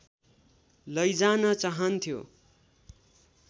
लैजान चाहन्थ्यो